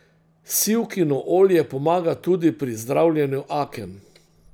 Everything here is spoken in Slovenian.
Sivkino olje pomaga tudi pri zdravljenju aken.